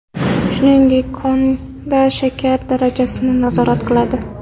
Shuningdek, qonda shakar darajasini nazorat qiladi.